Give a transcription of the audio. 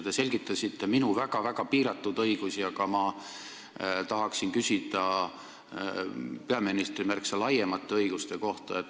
Te selgitasite minu väga piiratud õigusi, aga mina tahaksin küsida peaministri märksa laiemate õiguste kohta.